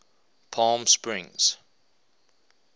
palmsprings